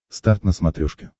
старт на смотрешке